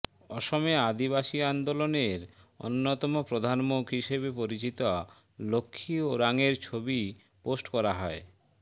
অসমে আদিবাসী আন্দোলনের অন্যতম প্রধান মুখ হিসেবে পরিচিত লক্ষ্ণী ওরাংয়ের ছবি পোস্ট করা হয়